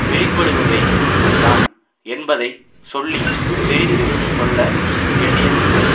வெளிப்படுபவை தான் என்பதை சொல்லி தெரிந்து கொள்ள வேண்டியதில்லை